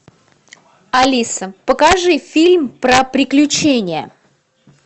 алиса покажи фильм про приключения